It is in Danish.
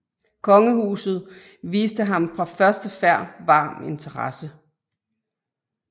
Kongehuset viste ham fra første færd varm interesse